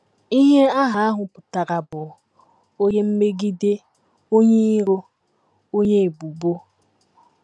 Ihe aha ahụ pụtara bụ “ Onye Mmegide; Onye Iro; Onye Ebubo. ”